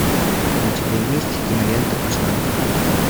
у тебя есть кинолента каштанка